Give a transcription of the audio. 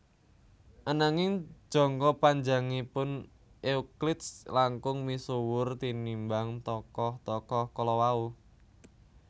Ananging jangka panjangipun Euclides langkung misuwur tinimbang tokoh tokoh kalawau